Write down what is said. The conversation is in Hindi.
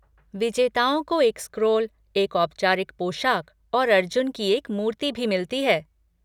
विजेताओं को एक स्क्रॉल, एक औपचारिक पोशाक और अर्जुन की एक मूर्ति भी मिलती है।